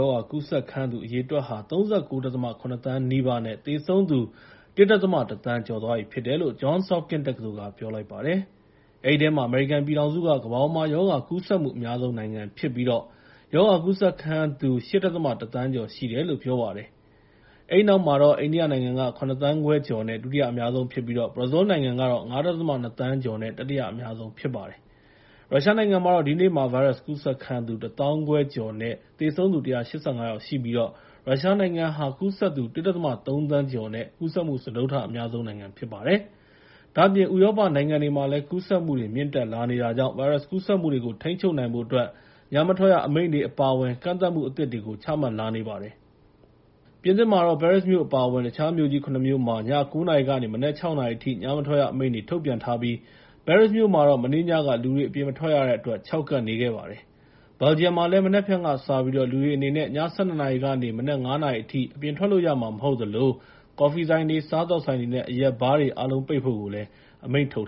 ောဂါ ကူးစက်ခံရသူ အရေအတွက်ဟာ ၃၉.၇ သန်းနီးပါးနဲ့ သေဆုံးသူ ၁.၁ သန်း ကျော်သွားပြီဖြစ်တယ်လို့ Johns Hopkins တက္ကသိုလ်က ပြောလိုက်ပါတယ်။ အဲဒီထဲမှာ အမေရိကန်ပြည်ထောင်စုက ကမ္ဘာပေါ်မှာ ရောဂါကူးစက်မှု အများဆုံးနိုင်ငံဖြစ်ပြီး ရောဂါကူးစက်ခံရသူ ၈.၁ သန်းကျော်ရှိတယ်လို့ ပြောပါတယ်။ အဲဒီနောက် အိန္ဒိယနိုင်ငံက ၇ သန်းခွဲကျော်နဲ့ ဒုတိယအများဆုံးဖြစ်ပြီး ဘရာဇီးလ်နိုင်ငံက ၅.၂ သန်းကျော်နဲ့ တတိယအများဆုံး ဖြစ်ပါတယ်။ ရုရှားနိုင်ငံမှာတော့ ဒီနေ့မှာ ဗိုင်းရပ်စ်ကူးစက်ခံရသူ ၁ သောင်းခွဲကျော်၊ သေဆုံးသူ ၁၈၅ ယောက်ရှိခဲ့ပြီး ရုရှားနိုင်ငံဟာ ကူးစက်သူ ၁.၃ သန်းကျော်နဲ့ ကူးစက်မှု စတုတ္ထအများဆုံး ဖြစ်ပါတယ်။ ဒါ့အပြင် ဥရောပနိုင်ငံတွေမှာလည်း ကူးစက်မှုတွေ မြင့်တက်လာနေတာကြောင့် ဗိုင်းရပ်စ်ကူးစက်မှုတွေကို ထိန်းချုပ်နိုင်ဖို့အတွက် ညမထွက်ရအမိန့်တွေ အပါအဝင် ကန့်သတ်မှုအသစ်တွေ ချမှတ်လာနေပါတယ်။ ပြင်သစ်မှာတော့ ပဲရစ်မြို့ အပါအဝင် တခြားမြို့ကြီး ၇ မြို့မှာ ည ၉ နာရီကနေ မနက် ၆ နာရီအထိ ညမထွက်ရအမိန့်တွေ ထုတ်ပြန်ထားပြီး ပဲရစ်မြို့မှာတော့ မနေ့ညက လူတွေ အပြင်မထွက်ရတဲ့အတွက် ခြောက်ကပ်နေပါတယ်။ ဘယ်လ်ဂျီယံမှာလည်း မနက်ဖြန်ကစပြီး လူတွေအနေနဲ့ ည ၁၂ နာရီကနေ မနက် ၅ နာရီအထိ အပြင်ထွက်လို့ရမှာ မဟုတ်သလို ကော်ဖီဆိုင်တွေ၊ စားသောက်ဆိုင်တွေနဲ့ အရက်ဘားတွေ အားလုံးကို ပိတ်ဖို့ အမိန့်ထုတ်